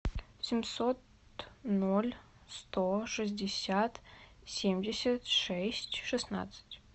семьсот ноль сто шестьдесят семьдесят шесть шестнадцать